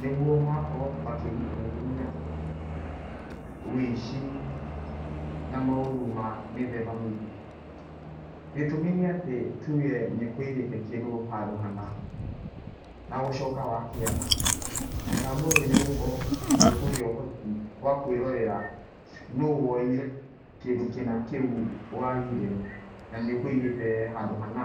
nĩguo magakorwo makĩgirĩrĩria ũici na maũru ma mĩthemba mĩingĩ. Gĩtũmi nĩ atĩ, nĩ tuge nĩ ũkũigĩte kĩndũ handũ hana, na gũcoka wakĩaga, mũtambo ũyũ nĩ ũgũkorwo ũgĩkũhe ũhoti wa kwĩrorera no woire kĩndũ kĩna kĩu wagire, na nĩ ũkũigĩte handũ hana.